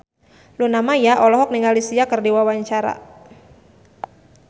Luna Maya olohok ningali Sia keur diwawancara